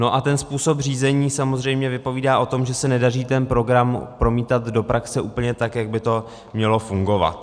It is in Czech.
No a ten způsob řízení samozřejmě vypovídá o tom, že se nedaří ten program promítat do praxe úplně tak, jak by to mělo fungovat.